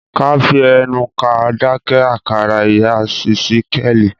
ká fí ẹnu ká dáké àkàrà ìyá ìsíkéèli.